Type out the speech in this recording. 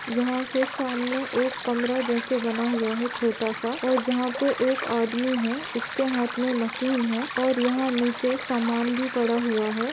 यहा पे सामने एक कमरा जैसे बना हुआ है छोटा सा और जहा पे एक आदमी है इसके हाथ मे मशीन है और यहा नीचे समान भी पड़ा हुआ है।